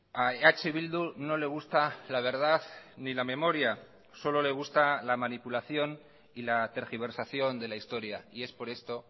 a eh bildu no le gusta la verdad ni la memoria solo le gusta la manipulación y la tergiversación de la historia y es por esto